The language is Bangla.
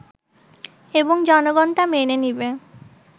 এবং জনগন তা মেনে নিবে